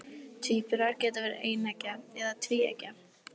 tvíburar geta verið eineggja eða tvíeggja